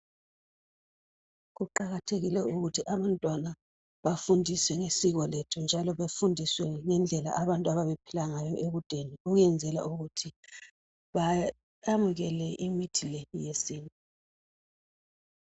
Kuqakathekile ukuthi abantwana bafundiswe ngesiko lethu njalo bafundiswe ngendlela abantu ababephila ngayo ekudeni ukwenzela ukuthi bamukele imithi yesintu